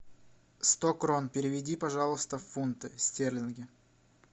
сто крон переведи пожалуйста в фунты стерлинги